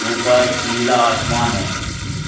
ऊपर नीला आसमान है।